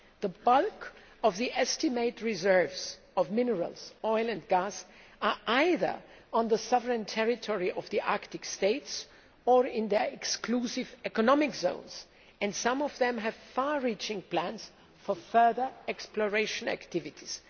The bulk of the estimated reserves of minerals, oil and gas are either on the sovereign territory of the Arctic states or in their exclusive economic zones, and some of them have far reaching plans for further exploration activities.